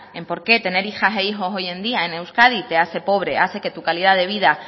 en por qué tener hijas e hijos hoy en día en euskadi te hace pobre hace que tu calidad de vida